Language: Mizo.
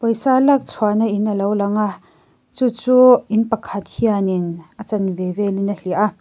lak chhuahna in a lo lang a chu chu in pakhat hianin a chanve velin a hliah a.